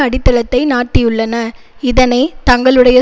அடித்தளத்தை நாட்டியுள்ளன இதனை தங்களுடைய